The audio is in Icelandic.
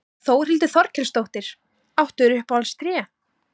Þórhildur Þorkelsdóttir: Áttu þér uppáhalds tré?